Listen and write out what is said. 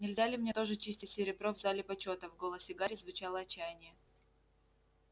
нельзя ли мне тоже чистить серебро в зале почёта в голосе гарри звучало отчаяние